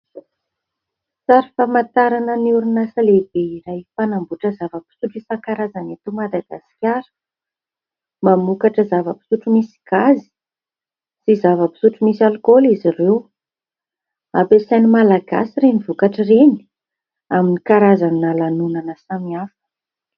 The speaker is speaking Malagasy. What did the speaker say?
Sary famantarana ny orinasa lehibe iray mpanamboatra zava-pisotro isankarazany eto madagaskara, mamokatra zava-pisotro misy gazy sy zava-pisotro misy alikaola izy ireo, ampiasain'ny malagasy reny vokatra ireny amin'ny karazana lanonana samihafa.